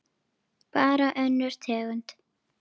Bara önnur tegund.